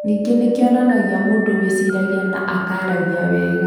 Ningĩ nĩ kĩonanagia mũndũ wĩciragia na akaaragia wega.